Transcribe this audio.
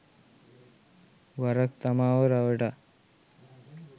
වරක් තමාව රවටා